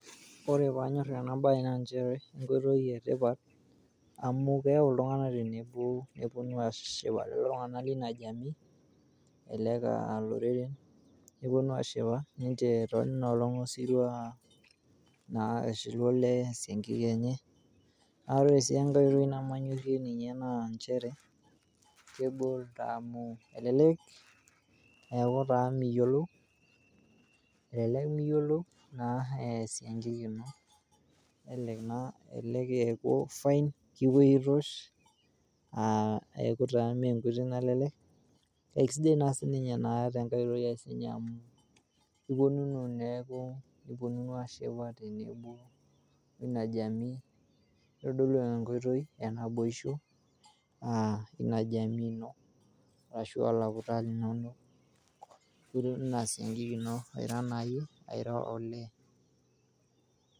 Kore paanyorr enabaye naa inchere, nkoitoi etipat amu keyau ltungana tenebo nponu ashipa ltungana le ina jamii elelek aa loreren, neponu aashipa ninche te nenia olong esirrua naa eshilu olee seenkei enye ,naa ore si enkae oitoi nemanyorrie ninye naa inchere kegol taaa amu elelek eaku taa miyiolou, elelek imiyiolou eas enkik ino nelelek eepo fain kipoi aitoosh, neaku taa mee enkuti nalelek, ekesidai sii ninye naa te enkae oitoi sii ninye amuu iponunu neaku niponunu aashipa tenebo oina jamii nedolu naa enkoitoi enaboisho aa ina jamii ino ashu alaptani linonomore duo aaesiankiki ino ira naado iye olee.